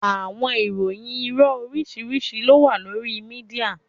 Awọn ìròyìn iro oriṣiriṣi lo wa lori media.